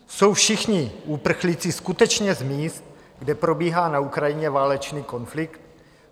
Jsou všichni uprchlíci skutečně z míst, kde probíhá na Ukrajině válečný konflikt?